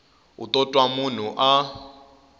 u to twa munhu a